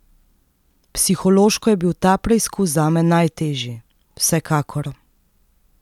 Psihološko je bil ta preizkus zame najtežji, vsekakor.